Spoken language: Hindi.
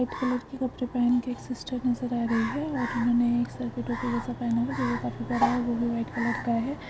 सफेद कलर की कपड़े पहन के एक सिस्टर नजर आ रही हैऔर इन्हों सारे मे टोपी जैसा पहन हुआ है | वॉवई व्हाइट कलर का है।